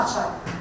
Dedi Qaçay.